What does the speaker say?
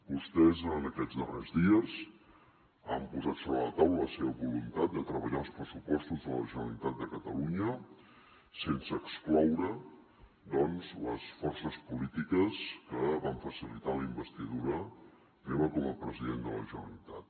vostès en aquests darrers dies han posat sobre la taula la seva voluntat de treballar els pressupostos de la generalitat de catalunya sense excloure doncs les forces polítiques que van facilitar la investidura meva com a president de la generalitat